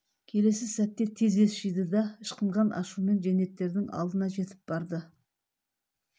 келесі сәтте тез ес жиды да ышқынған ашумен жендеттердің алдына жетіп барды